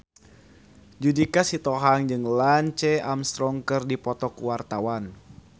Judika Sitohang jeung Lance Armstrong keur dipoto ku wartawan